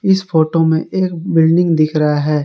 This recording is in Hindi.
इस फोटो में एक बिल्डिंग दिख रहा है।